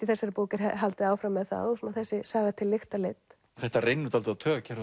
í þessari bók er haldið áfram með það og þessi saga til lykta leidd þetta reynir dálítið á taugakerfið